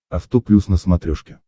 авто плюс на смотрешке